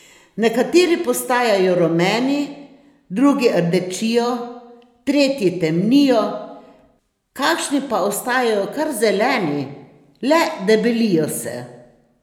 Nekateri postajajo rumeni, drugi rdečijo, tretji temnijo, kakšni pa ostajajo kar zeleni, le debelijo se!